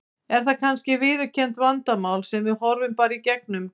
Er það kannski viðurkennt vandamál sem við horfum bara í gegnum?